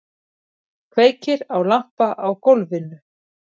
Kveikir á lampa á gólfinu.